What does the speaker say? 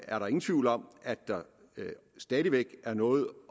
er der ingen tvivl om at der stadig væk er noget